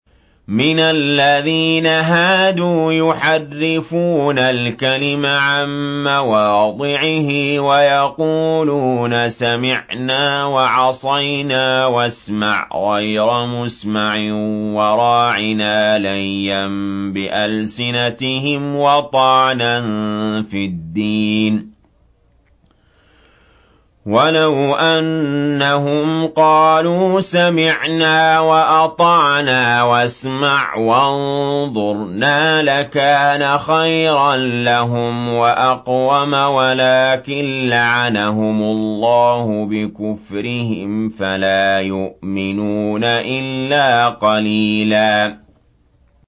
مِّنَ الَّذِينَ هَادُوا يُحَرِّفُونَ الْكَلِمَ عَن مَّوَاضِعِهِ وَيَقُولُونَ سَمِعْنَا وَعَصَيْنَا وَاسْمَعْ غَيْرَ مُسْمَعٍ وَرَاعِنَا لَيًّا بِأَلْسِنَتِهِمْ وَطَعْنًا فِي الدِّينِ ۚ وَلَوْ أَنَّهُمْ قَالُوا سَمِعْنَا وَأَطَعْنَا وَاسْمَعْ وَانظُرْنَا لَكَانَ خَيْرًا لَّهُمْ وَأَقْوَمَ وَلَٰكِن لَّعَنَهُمُ اللَّهُ بِكُفْرِهِمْ فَلَا يُؤْمِنُونَ إِلَّا قَلِيلًا